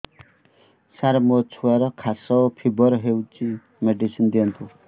ସାର ମୋର ଛୁଆର ଖାସ ଓ ଫିବର ହଉଚି ମେଡିସିନ ଦିଅନ୍ତୁ